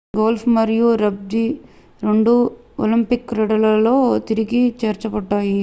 golf మరియు rugby రెండూ Olympic క్రీడలలో తిరిగి చేర్చబడ్డాయి